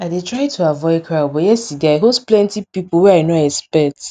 i dey try to avoid crowd but yesterday i host plenty pipo wey i nor expect